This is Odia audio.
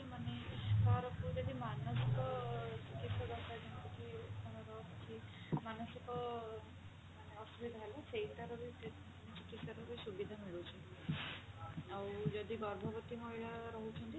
ମାନେ ଯଦି ମାନସିକ ଚିକିତ୍ସା ଦରକାର ଯେମିତିକି କିଛି ମାନସିକ ମାନେ ଅସୁବିଧା ହେଲା ସେଇଟାର ବି ମାନେ ଚିକିତ୍ସାର ବି ସୁବିଧା ମିଳୁଛି ଆଉ ଯଦି ଗର୍ଭବତ୍ତୀ ମହିଳା ରହୁଛନ୍ତି